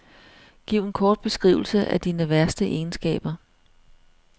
Giv en kort beskrivelse af dine værste egenskaber.